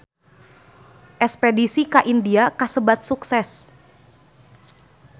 Espedisi ka India kasebat sukses